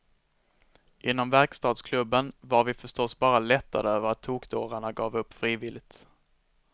Inom verkstadsklubben var vi förstås bara lättade över att tokdårarna gav upp frivilligt.